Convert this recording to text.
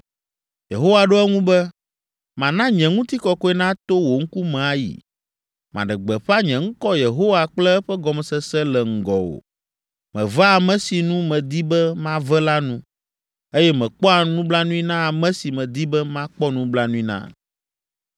Yehowa ɖo eŋu be, “Mana nye ŋutikɔkɔe nato wò ŋkume ayi. Maɖe gbeƒã nye ŋkɔ Yehowa kple eƒe gɔmesese le ŋgɔwò. Mevea ame si nu medi be mave la nu, eye mekpɔa nublanui na ame si medi be makpɔ nublanui na.